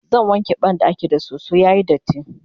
zan wanke banɗakin da soso yayi datti